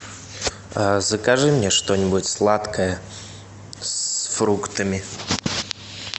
закажи мне что нибудь сладкое с фруктами